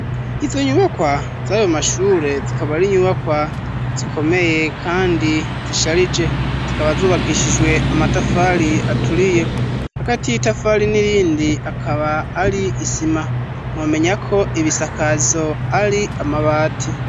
Izo nyubakwa z'ayo mashure zikaba ari nyubakwa zikomeye kandi zisharije zikaba zubakishijwe amatafari aturiye agati y'itafari n'irindi akaba ari isima mwomenya ko ibisakazo ari amabati.